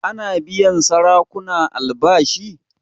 Ana biyan sarakuna albashi?